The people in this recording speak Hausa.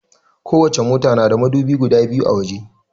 Kowace mota na da madubi guda biyu a waje.